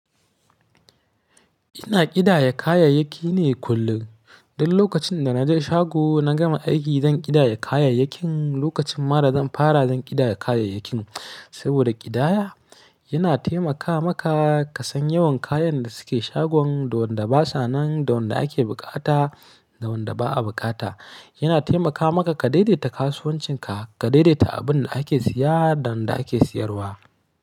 Ina ƙidaya kayayyaki ne kullum. Don lokacin da na je shago, na gama aiki zan ƙidaya kayayyakin. Lokacin ma da zan fara zan ƙidaya kayayyakin. Saboda ƙidaya yana taimaka maka ka san yawan kayan da suke shagon, da wanda basa nan, da wanda ake bukata, da wanda ba a bukata. Yana taimaka maka ka daidaita kasuwancinka, ka daidaita abin da ake siya da wanda ake siyarwa.